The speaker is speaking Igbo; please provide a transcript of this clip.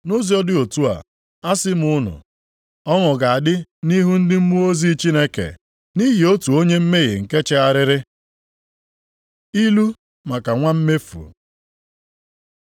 Nʼụzọ dị otu a, asị m unu, ọṅụ ga-adị nʼihu ndị mmụọ ozi Chineke nʼihi otu onye mmehie nke chegharịrị.” Ilu maka nwa mmefu